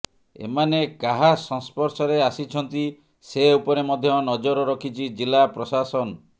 ଏମାନେ କାହା ସଂସ୍ପର୍ଶରେ ଆସିଛନ୍ତି ସେ ଉପରେ ମଧ୍ୟ ନଜର ରଖିଛି ଜିଲ୍ଲା ପ୍ରଶାସନ